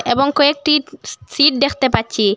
এবং কয়েকটি সি সিট দেখতে পাচ্ছি।